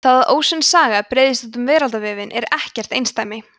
það að ósönn saga breiðist út um veraldarvefinn er ekkert einsdæmi